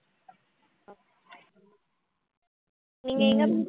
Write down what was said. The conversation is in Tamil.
நீங்க எங்க